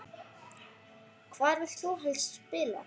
Hvar vilt þú helst spila?